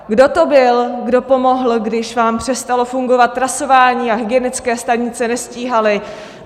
Kdo to byl, kdo pomohl, když vám přestalo fungovat trasování a hygienické stanice nestíhaly?